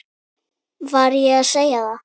Var ég að segja það?